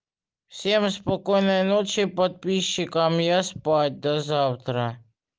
всем спокойной ночи подписчикам я спать до завтра